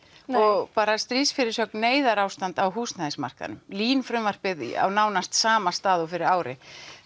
og stríðs fyrirsögn neyðarástand á húsnæðismarkaðnum LÍN frumvarpið á nánast sama stað og fyrir ári